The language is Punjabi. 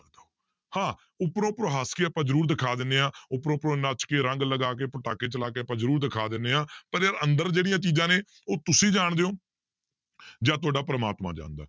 ਹਾਂ ਉਪਰੋਂ ਉਪਰੋਂ ਹੱਸ ਕੇ ਆਪਾਂ ਜ਼ਰੂਰ ਦਿਖਾ ਦਿੰਦੇ ਹਾਂ ਉਪਰੋਂ ਉਪਰੋਂ ਨੱਚ ਕੇ ਰੰਗ ਲਗਾ ਕੇ ਪਟਾਕੇ ਚਲਾ ਕੇ ਆਪਾਂ ਜ਼ਰੂਰ ਦਿਖਾ ਦਿੰਦੇ ਹਾਂ ਪਰ ਯਾਰ ਅੰਦਰ ਜਿਹੜੀਆਂ ਚੀਜ਼ਾਂ ਨੇ ਉਹ ਤੁਸੀਂ ਜਾਣਦੇ ਹੋ ਜਾਂ ਤੁਹਾਡਾ ਪ੍ਰਮਾਤਮਾ ਜਾਣਦਾ।